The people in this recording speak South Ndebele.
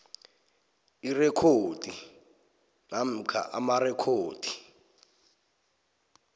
irekhodi namkha amarekhodi